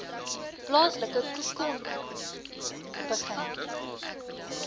plaaslike khoekhoen begin